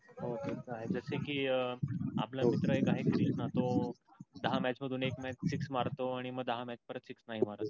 हो तस आहे कि आपल मित्र एक आहे कृष्णा त्यो दहा match एक match six मारतो आणि मग दहा match पर्यंत six नाही मारत